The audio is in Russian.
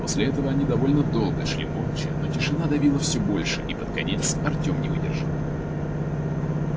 после этого они довольно долго шли молча но тишина давила всё больше и под конец артём не выдержал